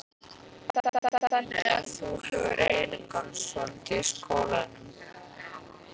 Heimir: Þannig að þú hefur einangrast svolítið í skólanum?